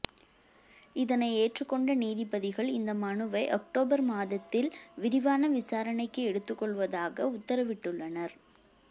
இதனை ஏற்றுக்கொண்ட நீதிபதிகள் இந்த மனுவை ஒக்டோபர் மாதத்தில் விரிவான விசாரணைக்கு எடுத்துக்கொள்வதாக உத்தரவிட்டுள்ளனர்